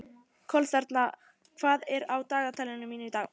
Kolþerna, hvað er á dagatalinu mínu í dag?